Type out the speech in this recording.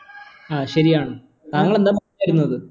ആ ശരിയാണ് എന്താ പറഞ്ഞു വരുന്നത്